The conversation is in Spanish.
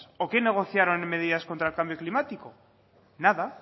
o qué negociaron en medidas contra el cambio climático nada